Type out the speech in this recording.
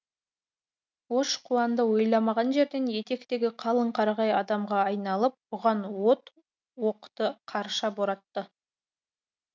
ош қуанды ойламаған жерден етектегі қалың қарағай адамға айналып бұған от оқты қарша боратты